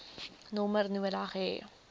nommer nodig hê